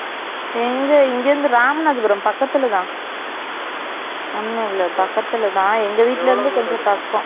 எங்க இங்கிருந்து இராமநாதபுரம் பக்கத்துலதான் Silent ஒன்னும் இல்ல பக்கத்துலதான் எங்க வீட்டுல இருந்து கொஞ்சம் பக்கம்